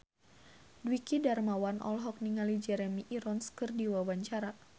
Dwiki Darmawan olohok ningali Jeremy Irons keur diwawancara